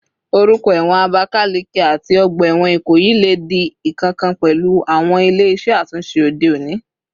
Orúkọ ẹ̀wọ̀n Abakaleke àti ọgbà ẹ̀wọ̀n Ikoyi lè di ìkankan pẹ̀lú àwọn ilé iṣẹ́ àtúnṣe òde òní